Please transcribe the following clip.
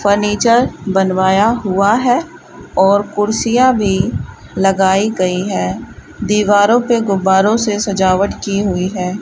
Furniture बनवाया हुआ है और कुर्सियां भी लगाई गई है दीवारों पे गुब्बारों से सजावट की हुई है।